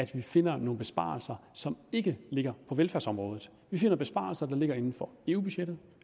vi finder nogle besparelser som ikke ligger på velfærdsområdet vi finder besparelser der ligger inden for eu budgettet